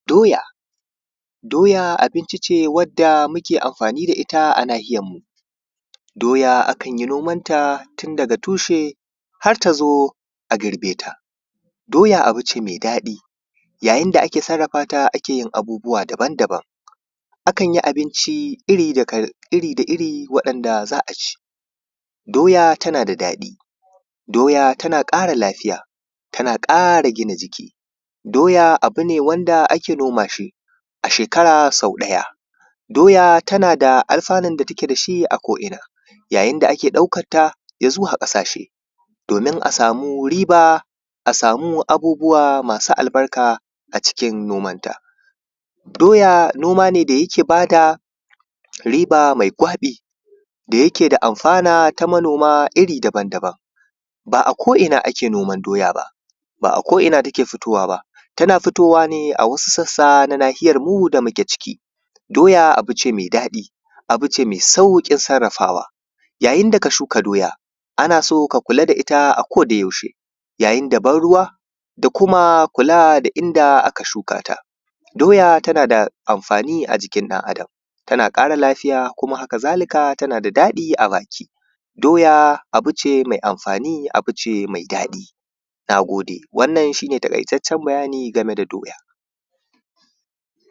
Doya abinci ce wadda muke amfani da ita a nahiyarmu. Doya a kan ya noman ta tun daga tushe har tazo a girbe ta. Doya abu ce mai daɗai yayin da ake sarrafa ta ake yin abubuwa daban-daban. Akan yi abinci iri da iri wa’yanda za a ci. Doya tana da daɗi. Doya tana ƙara lafiya. Tana ƙara ƙara gina jiki. Doya abu ne wanda ake noma shi a shekara sau ɗaya. Doya tana da alɸanun da take da shi a ko'ina yayin da ake ɗaukanta a zuwa ƙasashe domin a samu riba, a samu abubuwa masu albarka a cikin nomanta. Doya noma ne da yake ba da riba mai gwaɓi da yake da amfana ta manoma iri daban-daban. Ba a ko'ina ake noman doya ba. Ba a ko'ina take fitowa ba. Tana fitowa ne a wasu sassa ta nahiyarmu. da muke ciki. Doya abu ce mai daɗi, abu ce mai sauƙin sarrafawa. Yayin da ka shuka Doya ana so ka kula da ita a kodayaushe yayin da ban ruwa kula da inda aka shuka ta. Doya tana da amfani a jikin ɗan Adam. Tana ƙara lafiya. kuma haka-za-lika tana tana da daɗi a baki. Doya abu ce mai amfani, abu ce mai daɗi. Na gode wannan shi ne Taƙaitaccen bayani game da Doya.